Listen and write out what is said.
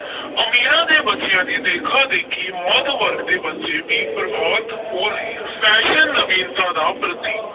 ਅਮੀਰਾਂ ਦੇ ਬੱਚਿਆਂ ਦੀ ਦੇਖਾ-ਦੇਖੀ ਮੱਧ ਵਰਗ ਦੇ ਬੱਚੇ ਵੀ ਪ੍ਰਭਾਵਤ ਹੋ ਰਹੇ ਹਨ fashion ਨਵੀਨਤਾ ਦਾ ਪ੍ਰਤੀਕ